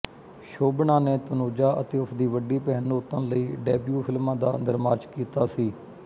ਸ਼ੋਭਨਾ ਨੇ ਤਨੂਜਾ ਅਤੇ ਉਸਦੀ ਵੱਡੀ ਭੈਣ ਨੂਤਨ ਲਈ ਡੈਬਿਊ ਫ਼ਿਲਮਾਂ ਦਾ ਨਿਰਮਾਚ ਕੀਤਾ ਸੀ